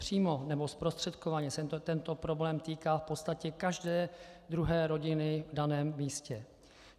Přímo nebo zprostředkovaně se tento problém týká v podstatě každé druhé rodiny v daném místě.